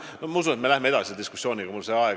Ma usun, et me läheme diskussiooniga veel edasi.